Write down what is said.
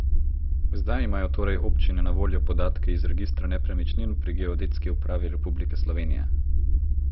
Zdaj imajo torej občine na voljo podatke iz registra nepremičnin pri Geodetski upravi republike Slovenije.